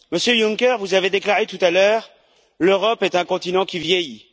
Monsieur Juncker, vous avez déclaré tout à l'heure, l'Europe est un continent qui vieillit.